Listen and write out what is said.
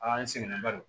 A n sɛgɛnnen ba don